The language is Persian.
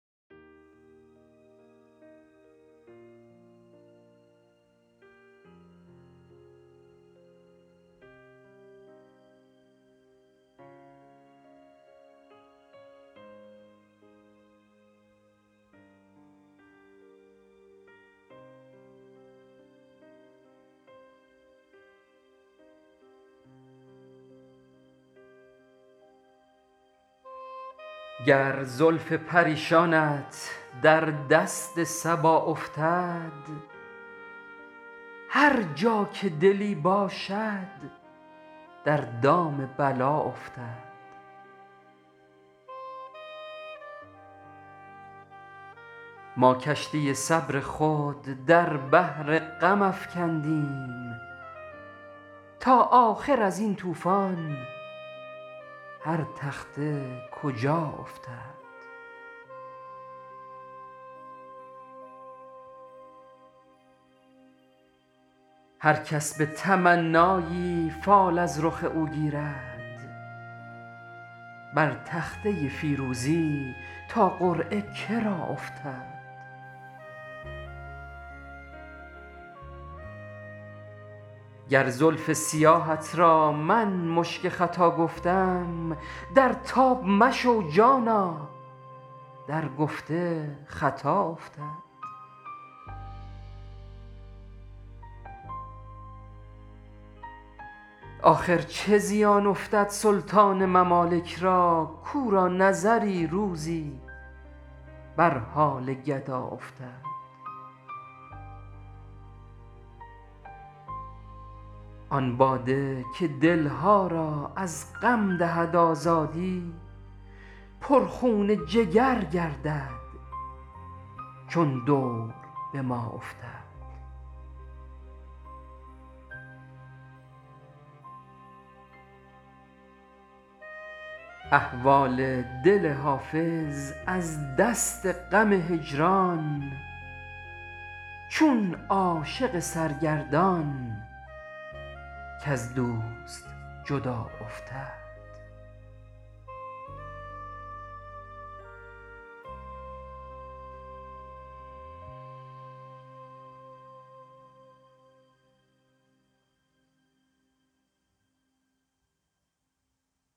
گر زلف پریشانت در دست صبا افتد هر جا که دلی باشد در دام بلا افتد ما کشتی صبر خود در بحر غم افکندیم تا آخر از این طوفان هر تخته کجا افتد هر کس به تمنایی فال از رخ او گیرد بر تخته فیروزی تا قرعه کرا افتد گر زلف سیاهت را من مشک ختا گفتم در تاب مشو جانا در گفته خطا افتد آخر چه زیان افتد سلطان ممالک را کو را نظری روزی بر حال گدا افتد آن باده که دل ها را از غم دهد آزادی پر خون جگر گردد چون دور به ما افتد احوال دل حافظ از دست غم هجران چون عاشق سرگردان کز دوست جدا افتد